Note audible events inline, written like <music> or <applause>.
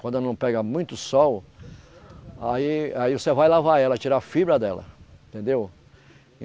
Quando não pega muito sol, aí aí você vai lavar ela, tirar a fibra dela, entendeu? <unintelligible>